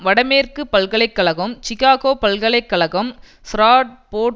வடமேற்கு பல்கலை கழகம் சிகாகோ பல்கலை கழகம் ஃப்ராட் போர்டு